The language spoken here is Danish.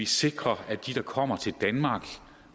sikre at de der kommer til danmark